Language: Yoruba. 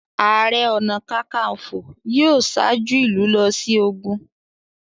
Ààrẹ ọ̀nà kakaǹfò yóò ṣáájú ìlú lọ sí ogun.